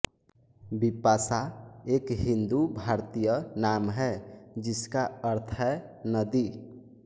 बिपाशा एक हिन्दू भारतीय नाम है जिस का अर्थ है नदी